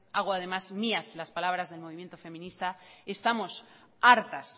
hago además mías las palabras del movimiento feminista estamos hartas